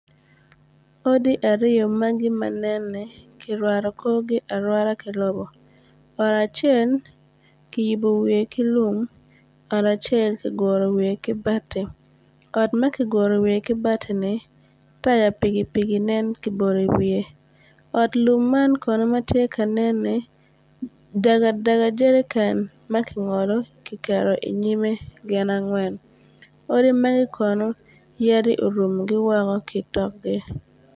Odi aryo ma ginenni kirwato korgi arwata ki lobo ot acel ki yubo wiye ki lum ot acel ki guru wiye ki batti ot ma ki guro wiye ki batini taya pikipiki ki bolo i wiye ot lum man ma nenni dagadaga jerican angwen tye ki keto i nyime odi magi yadi orumogi woko.